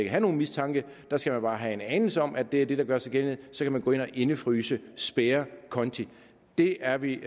have nogen mistanke der skal man bare have en anelse om at det er det der gør sig gældende så kan man gå ind og indefryse spærre konti det er vi